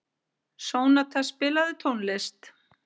Sónata, spilaðu tónlist.